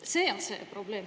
See on see probleem.